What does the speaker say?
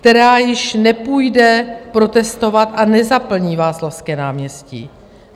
Která již nepůjde protestovat a nezaplní Václavské náměstí.